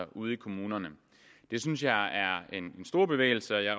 ude i kommunerne det synes jeg er en stor bevægelse og jeg